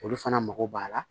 Olu fana mago b'a la